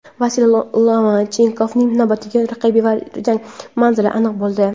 Vasiliy Lomachenkoning navbatdagi raqibi va jang manzili aniq bo‘ldi.